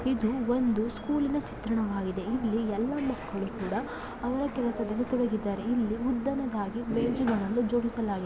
ಇದು ಒಂದು ಸ್ಕೂಲಿನ ಚಿತ್ರಣವಾಗಿದೆ ಇಲ್ಲಿ ಎಲ್ಲಾ ಮಕ್ಕಳು ಕೂಡ ಅವರ ಕೆಲಸದಲ್ಲಿ ತೊಡಗಿದ್ದಾರೆ ಇಲ್ಲಿ ಉದ್ದನೆಯದಾಗಿ ಬೆಂಚುಗಳನ್ನು ಜೋಡಿಸಲಾಗಿದೆ.